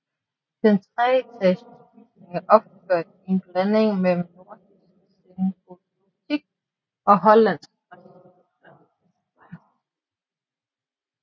Den treetagers bygning er opført i en blanding mellem nordisk sengotik og hollandsk renæssance